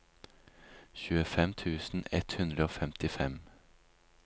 tjuefem tusen ett hundre og femtifem